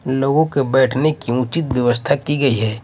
लोगों के बैठने की उचित व्यवस्था की गई है।